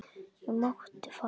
Ég mátti fara.